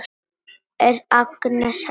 Er Agnes heima?